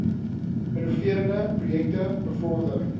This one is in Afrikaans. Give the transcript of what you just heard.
innoverende projekte bevorder